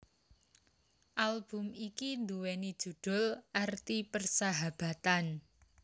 Album iki nduwéni judhul Arti Persahabatan